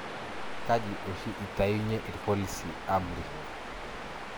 Kajii oshi itayunyie irpolisi amuri?